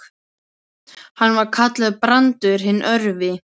Hann var kallaður Brandur hinn örvi.